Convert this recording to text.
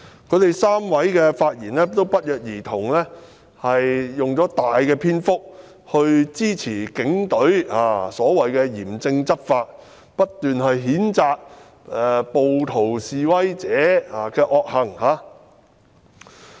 他們不約而同地在發言中用上很大篇幅來支持警隊所謂的嚴正執法，不斷譴責暴徒和示威者。